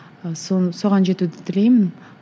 соған жетуді тілеймін